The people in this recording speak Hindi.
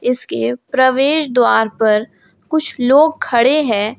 इसके प्रवेश द्वार पर कुछ लोग खड़े हैं।